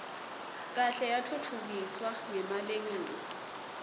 kahle yatfutfukiswa ngemalengiso